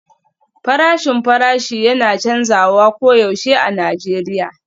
Farashin farashi yana canzawa koyaushe a Najeriya